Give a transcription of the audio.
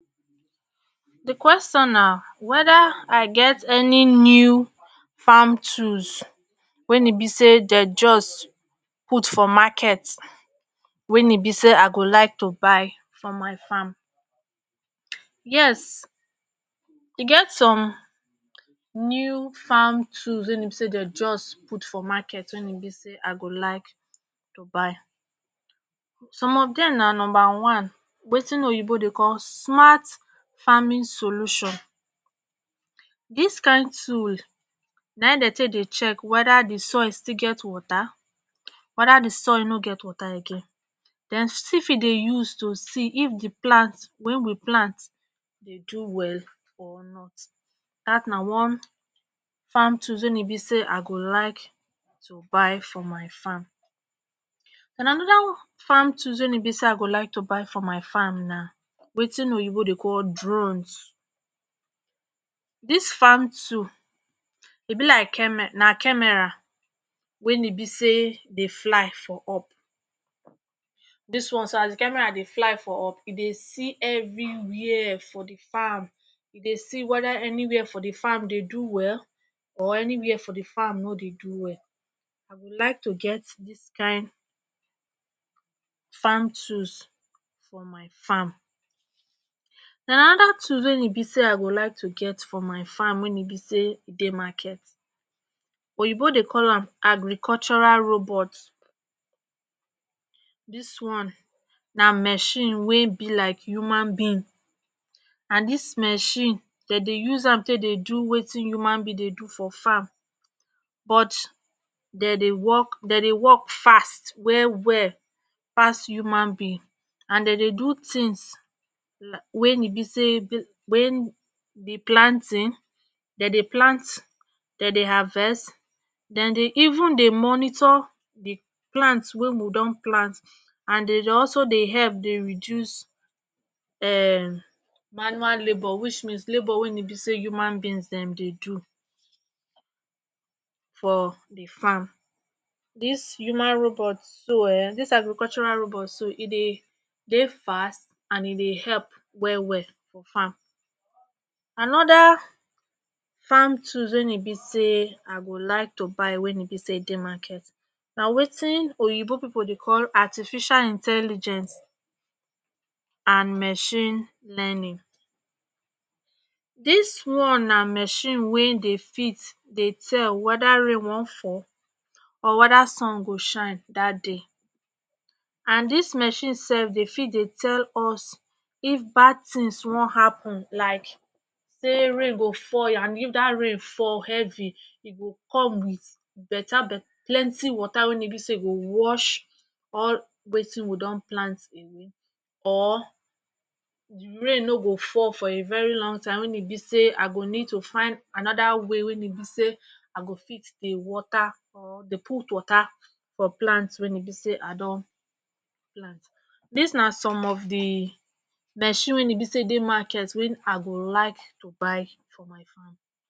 di question na weda i get any new farm tools wen e be say dey just put for market wein e be say i go like to buy for my farm yes e get some new farm tools wey e be say dem jus put for market wein e be say i go like to buy some of dem na numba one wetin oyibo dey call smart farming solution this kind tools nai dey take dey check weda the soil still get water weda the soil no get water again den still fit dey use to see if the plants wey we plant dey do well or not that na one farm tools wein e be say i go like to buy for my farm and anoda farm tools wein e be say i go like to buy for my farm na wetin oyibo dey call drones this farm tools dey be like came na camera wein e be say dey fly for up dis one so as the camera dey fly for up e dey see everywhere for the farm dey see weda anywhere for the farm dey do well or anywhere for the farm nor dey do well I go like to get dis kin farm tools for my farm and anoda tools wey e be say i go like to get for my farm wey e be say dey market oyibo dey call am agricultural robot this one na machine wey be like human being and this machine de dey use am dey do wetin human being dey do for farm but de dey work fast well well pass human being and de dey do things like wey e be say wen the planting de dey plant de dey harvest de dey even dey monitor the plant wey we don plant and de dey also dey help dey reduce um manual labour which means labour wein e be say human being Dem dey do for the farm this human robot so um this agricultural robot so e dey dey fast and e dey help well well for farm anoda farm tools wein be say i go like to buy wein be say dey market na wetin oyibo people dey call artificial intelligence and machine learning this one na machine wey dey fit dey tell weda rain wan fall or weda sun go shine that day and this machine sef dey fit dey tell us if bad thins wan happen like say rain go fall and if that rain fall heavy e go come with better better plenty water wey go wash all wetin we don plant or di rain nor go fall for a very long time wein e be say i go need to find anoda way wein e be say i go fit dey water or dey put water for plants wein be say i don plant this na some of the machine wey e be say dey market wey e be say i go like to buy for my farm